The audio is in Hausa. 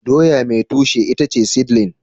doya mai tushe itace seedling